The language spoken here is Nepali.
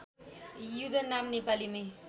युजर नाम नेपालीमै